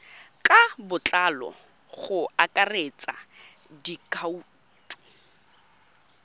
ka botlalo go akaretsa dikhoutu